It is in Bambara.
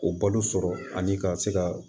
O balo sɔrɔ ani ka se ka